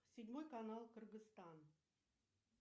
седьмой канал кыргызстан